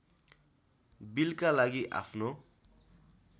बिलका लागि आफ्नो